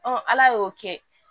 ala y'o kɛ